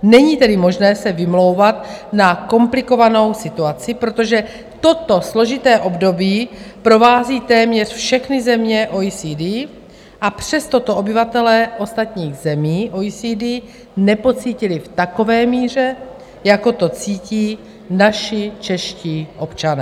Není tedy možné se vymlouvat na komplikovanou situaci, protože toto složité období provází téměř všechny země OECD, a přesto to obyvatelé ostatních zemí OECD nepocítili v takové míře, jako to cítí naši čeští občané.